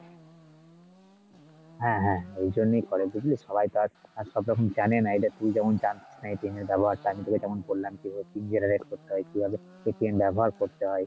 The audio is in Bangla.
হ্যাঁ হ্যাঁ এই জন্যই করে বুঝলি সবাই তো আর আর সবরকম জানেনা এই ধর তুই যেমন জানতিস না, এর ব্যাবহার টা কি কেমন pin করতে হয় কিভাবে ব্যাবহার করতে হয়